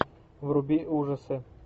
вруби ужасы